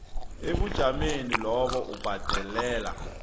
ebujameni lapho ubhadelela